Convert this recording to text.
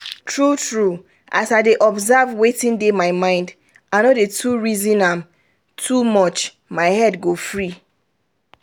true true as i dey observe wetin dey my mind i no too dey reasom am too much my head go free